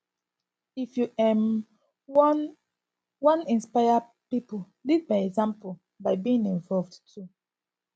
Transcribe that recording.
if you um wan wan inspire pipo lead by example by being involved too